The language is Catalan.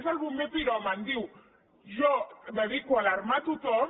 és el bomber piròman diu jo em dedico a alarmar tothom